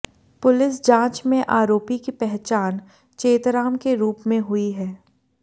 police जांच में आरोपी की पहचान चेतराम के रूप में हुई है